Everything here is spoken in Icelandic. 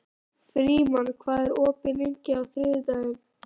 Frímann, hvað er opið lengi á þriðjudaginn?